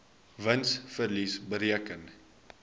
wins verlies bereken